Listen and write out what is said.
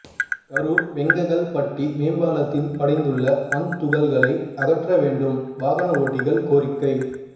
கரூர் வெங்ககல்பட்டி மேம்பாலத்தில் படிந்துள்ள மண் துகள்களை அகற்ற வேண்டும் வாகன ஓட்டிகள் கோரிக்கை